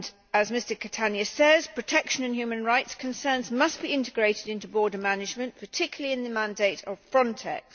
As Mr Catania says, protection in human rights concerns must be integrated into border management, particularly in the mandate of Frontex.